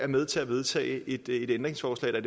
med til at vedtage et ændringsforslag der